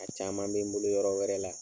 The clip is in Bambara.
A caaman be n bolo yɔrɔ wɛrɛ la.